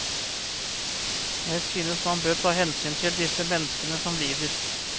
Jeg synes man bør ta hensyn til disse menneskene som lider.